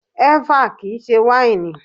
Ẹ́fà kìí ṣe wáìnì.